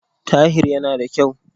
Tahir yana yana da kyau.